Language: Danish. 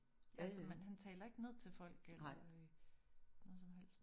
Altså man han taler ikke ned til folk eller øh noget som helst